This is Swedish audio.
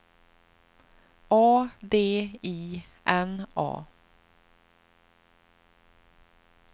A D I N A